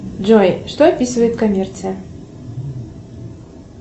джой что описывает коммерция